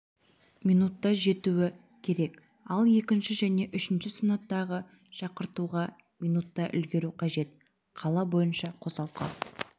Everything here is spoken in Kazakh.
минутта жетуі керек ал екінші және үшінші санаттағы шақыртуға минутта үлгеру қажет қала бойынша қосалқы